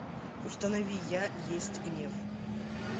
установи я есть гнев